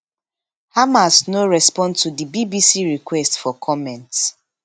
hamas no respond to di bbc request for comment